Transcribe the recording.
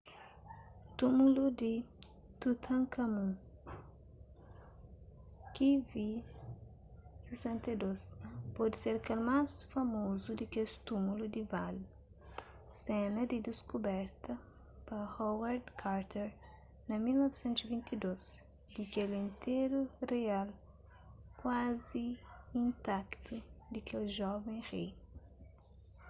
túmulu di tutankhamun kv62. kv62 pode ser kel más famozu di kes túmulu di vale sena di diskuberta pa howard carter na 1922 di kel interu rial kuazi intaktu di kel joven rei